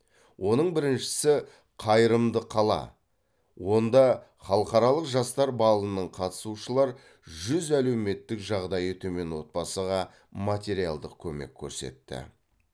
оның біріншісі қайырымды қала онда халықаралық жастар балының қатысушылар жүз әлеуметтік жағдайы төмен отбасыға материалдық көмек көрсетті